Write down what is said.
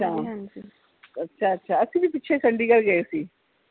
ਅੱਛਾ ਅੱਛਾ ਅਸੀਂ ਵੀ ਪਿੱਛੇ ਚੰਡੀਗੜ੍ਹ ਗਏ ਸੀ